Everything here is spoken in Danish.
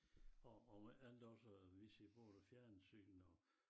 Og og med alt også vi ser både fjernsyn og